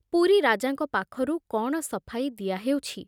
ପୁରୀ ରାଜାଙ୍କ ପାଖରୁ କଣ ସଫାଇ ଦିଆ ହେଉଛି?